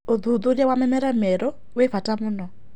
Ũthũthũrĩa wa mĩmera mĩerũ wĩ bata mũno